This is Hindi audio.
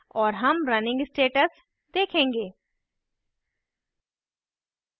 और हम running status देखेंगे